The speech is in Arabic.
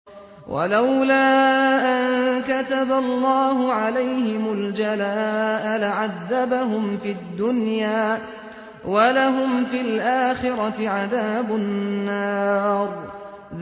وَلَوْلَا أَن كَتَبَ اللَّهُ عَلَيْهِمُ الْجَلَاءَ لَعَذَّبَهُمْ فِي الدُّنْيَا ۖ وَلَهُمْ فِي الْآخِرَةِ عَذَابُ النَّارِ